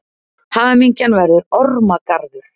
Hamingjan verður ormagarður.